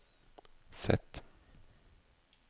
Z